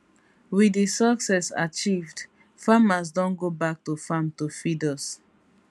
wit di success achieved farmers don go back to farm to feed us